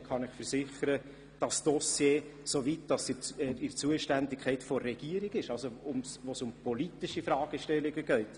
Ich kann Ihnen versichern, dass dieses Dossier gut geführt ist, soweit es in der Zuständigkeit der Regierung liegt, also dort, wo es um politische Fragestellungen geht.